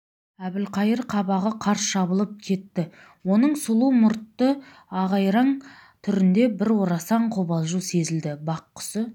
әбілқайыр қабағы қарс жабылып кетті оның сұлу мұртты ағайраң түрінде бір орасан қобалжу сезілді бақ құсы